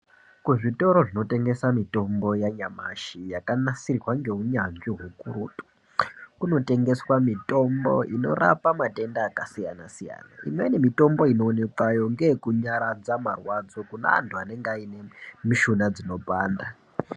Kuzvitoro zvinotengesa mitombo yanyamashi yakanasirwa ngeunyanzvi hukurutu kunotengeswa mitombo inorapa matenda akasiyana-siyana. Imweni mitombo inoonekwayo ngeyekunyaradza marwadzo kune anhu anenge aine mishuna dzinopanda.